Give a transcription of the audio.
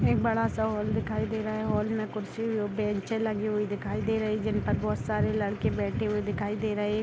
एक बड़ा सा हॉल दिखाई दे रहा है हॉल में कुर्सी बेंचे लगी हुई दिखाई दे रही है जिन पर बहुत सारे लड़के बैठे हुए दिखाई दे रहे --